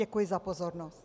Děkuji za pozornost.